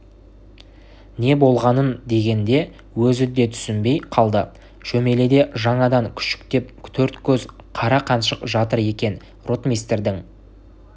не болғанын дегенде өзі де түсінбей қалды шөмеледе жанадан күшіктет төрткөз қара қаншық жатыр екен ротмистрдің